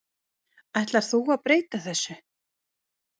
Ætlar þú að breyta þessu?